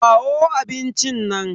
Kawo abincin nan.